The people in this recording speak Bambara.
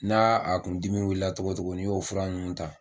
N'a a kun dimi wulila cogo cogo n'i y'o fura ninnu ta.